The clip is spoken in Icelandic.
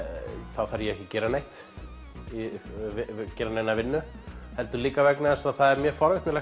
þá þarf ég ekki að gera neitt gera neina vinnu heldur líka vegna þess að það er mjög forvitnilegt